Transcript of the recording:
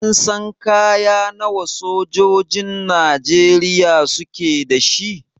Kin san kaya nawa sojojin Najeriya suke da shi?